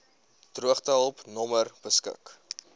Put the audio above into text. droogtehulp nommer beskik